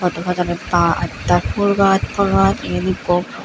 hattol pajanit baj taj pul gaz pul gaz iyot ikko.